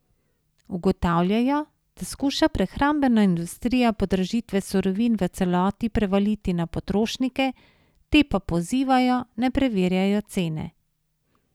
Ugotavljajo, da skuša prehrambena industrija podražitve surovin v celoti prevaliti na potrošnike, te pa pozivajo, naj preverjajo cene.